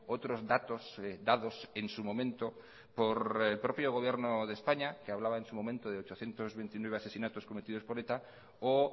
otros datos dados en su momento por el propio gobierno de españa que hablaba en su momento de ochocientos veintinueve asesinatos cometidos por eta o